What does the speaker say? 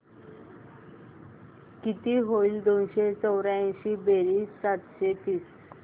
किती होईल दोनशे चौर्याऐंशी बेरीज सातशे तीस